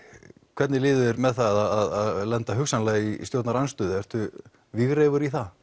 hvernig líður þér með það að lenda hugsanlega í stjórnarandstöðu ertu vígreifur í það